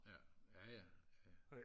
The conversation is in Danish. ja ja ja